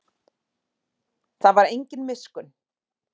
Það var engin miskunn.